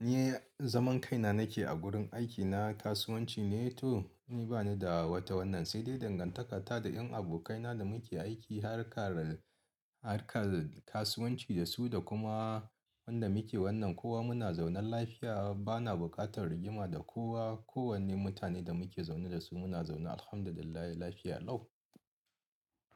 ni zaman kaina nake a gurin aikina kasuwanci ne to ni bani da wata wannan sai dai dangantakata da en abokaina da muke aiki harkar, harkar kasuwanci da su da kuma wanda muke wannan kowa muna zaune lafiya bana bukatar rigima da kowa. Ko wanne mutane da muke zaune da su muna zaune Alhamdulillah lafiya lau.